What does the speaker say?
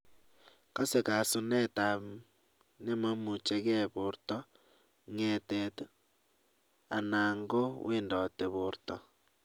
Kase kasunet ab nememuchii gee borto, ngee�tet �anan kou wendotit borto.